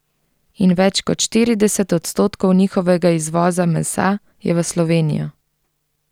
In več kot štirideset odstotkov njihovega izvoza mesa je v Slovenijo.